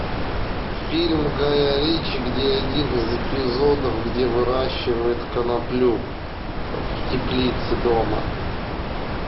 фильм гая ричи где один из эпизодов где выращивают коноплю в теплице дома